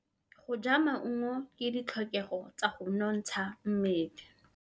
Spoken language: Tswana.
Go ja maungo ke ditlhokegô tsa go nontsha mmele.